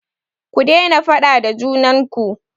Ku daina faɗa da junan ku!